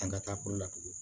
An ka taa kɔrɔ la tugun